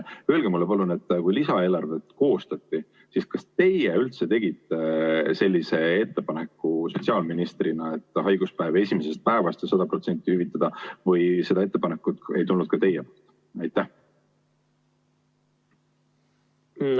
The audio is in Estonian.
Öelge mulle palun, kui lisaeelarvet koostati, siis kas teie üldse tegite sotsiaalministrina sellise ettepaneku, et haiguspäevi võiks esimesest päevast ja 100% hüvitada või seda ettepanekut ei tulnud ka teie poolt?